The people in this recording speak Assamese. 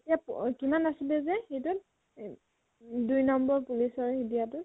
তেতিয়া তহ কিমান আছিলে যে সেইটোত এ দুই নম্বৰ police ৰ সেই দিয়াটো?